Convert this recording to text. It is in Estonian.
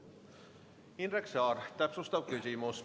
Indrek Saar, täpsustav küsimus.